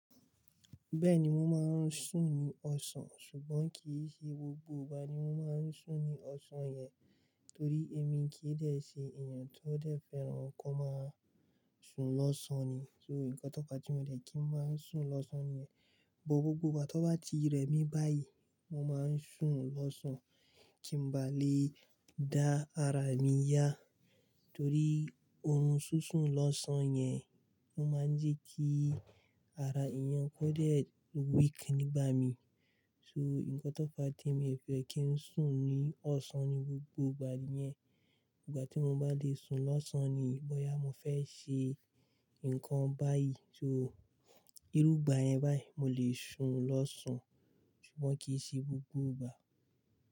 Bẹ́ẹ̀ni mo máa ń sùn ní ọ̀sán ṣùgbọ́n kì í ṣe gbogbo ìgbà ni mo máa ń sùn ní ọ̀sán yẹn torí èmi kì í dẹ̀ ṣe èèyàn tó dẹ̀ fẹ́ràn ko máa sùn lọ́sàn-án ni. So, nǹkan tó fa tí mo dẹ̀ kí ń máa sùn lọ́sán ni bọ̀ gbogbo ìgbà tó bá ti rẹ̀ mí báyìí, mo máa ń sùn lọ́sán kí n bá lè dá ara mi yá torí orun ṣú ṣùn lọ́sán yẹn O máa ń jẹ́ kí ara èèyàn kó dẹ̀ weak nígbà mí. So, nǹkan tó fa tí mo fẹ́ kí ń sùn ní ọ̀sán ní gbogbo ìgbà yẹn, ìgbà tí mo bá lè sùn lọ́sán ni bọ́yá mo fẹ́ ṣe nǹkan báyìí. So, irúgbà yẹn báyìí mo lè sùn lọ́sán ṣùgbọ́n kì í ṣe gbogbo ìgbà.